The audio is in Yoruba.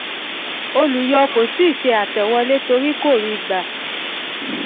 olùyọ kò tíì ṣe àtẹ̀wọlé torí kò tíì gbà á